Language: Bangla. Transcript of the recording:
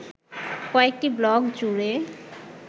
কয়েকটি ব্লক জুড়ে